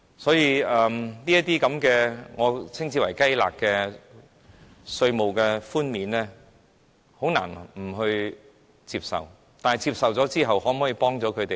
所以，這些我稱之為"雞肋"的稅務寬減，我們很難不接受，但可否幫助他們呢？